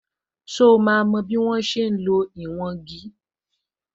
So máa mo bí wọ́n ṣe ń lo ìwọ̀n igi?